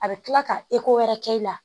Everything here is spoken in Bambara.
A bɛ kila ka wɛrɛ kɛ i la